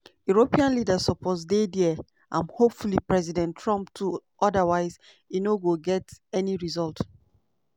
european leaders suppose dey dia and hopefully president trump too otherwise e no go get any result".